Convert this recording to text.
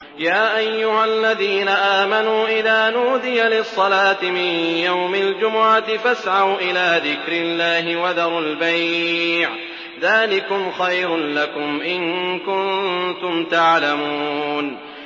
يَا أَيُّهَا الَّذِينَ آمَنُوا إِذَا نُودِيَ لِلصَّلَاةِ مِن يَوْمِ الْجُمُعَةِ فَاسْعَوْا إِلَىٰ ذِكْرِ اللَّهِ وَذَرُوا الْبَيْعَ ۚ ذَٰلِكُمْ خَيْرٌ لَّكُمْ إِن كُنتُمْ تَعْلَمُونَ